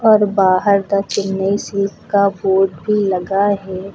और बाहर द चेनई सीप का बोर्ड भी लगा है।